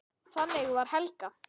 Þannig var Helga.